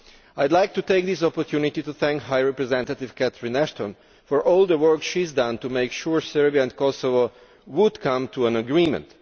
I would like to take this opportunity to thank High Representative Catherine Ashton for all the work she has done to make sure Serbia and Kosovo come to an agreement.